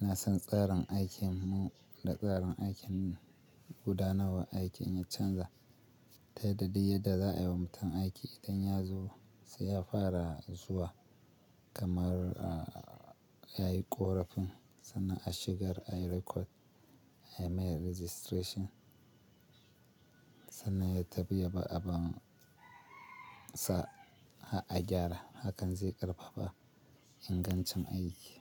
ina son tsarin aikin mu da tsarin aikin gudanarwa aiki in ya canza. Ta yadda duk yadda za'a yi wa mutum aiki idan ya zo sai ya fara zuwa kamar, ya yi ƙorafin sannan a shigar a yi record, a yi mai registration sannan ya tafi ya bar abun sa har gyara. Hakan zai ƙarfafa ingancin aiki.